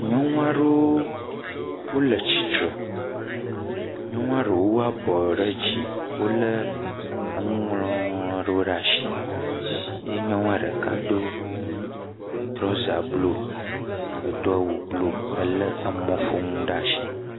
Nyɔnu aɖewo le titre nyɔnu aɖewo wu abɔwo ɖe dzi wole nu ŋɔŋlɔ aɖewo ɖe asi eye nyɔnua ɖeka do trɔza blu awu blu le mɔƒonu ɖe asi